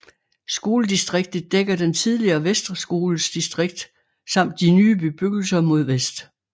Skoledistriktet dækker den tidligere Vestre Skoles distrikt samt de nye bebyggelser mod vest